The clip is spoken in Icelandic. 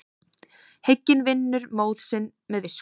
Hygginn vinnur móð sinn með visku.